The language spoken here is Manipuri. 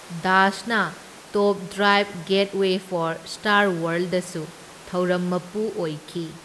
ꯗꯥꯁꯅ top driver gateway four star ꯋꯥꯔꯜꯗꯗꯁꯨ ꯊꯧꯔꯝ ꯃꯄꯨ ꯑꯣꯏꯈꯤ꯫